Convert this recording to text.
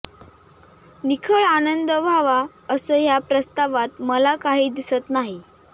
निखळ आनंद व्हावा असं ह्या प्रस्तावात मला काही दिसत नाही